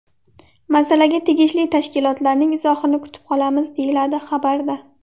Masalaga tegishli tashkilotlarning izohini kutib qolamiz”, deyiladi xabarda.